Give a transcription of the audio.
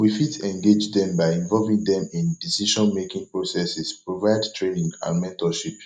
we fit engage dem by involving dem in decisionmaking processes provide training and mentorship